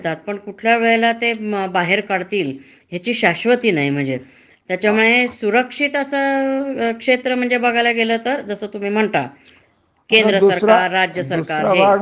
दुसरा वाव म्हणजे अस आहे. हं. की, खाजगी क्षेत्रात, ह. जेव्हा तुमच्या कंपनीला तोटा येतो. हं. म्हणजे त्यांच्या मालाला उठाव नसेल, हं.